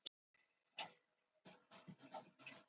En það var engin afsökun á vörum hennar, bara skrýtið bros.